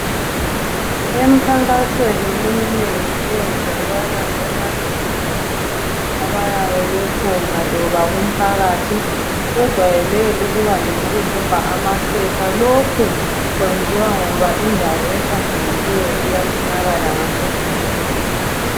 Emnkankasweni eminengi eyenzakala ebantwini abayabe bekhona loba kumphakathi, ijwawele ukuba ngoyokudobha amaphepha. Lokhu kwenziwa ngoba indawo ehlanzelileyo iyafunakala ngaso sonke iskhathi.